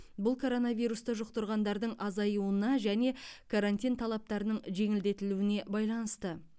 бұл коронавирусты жұқтырғандардың азаюына және карантин талаптарының жеңілдетілуіне байланысты